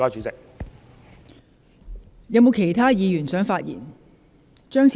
是否有其他議員想發言？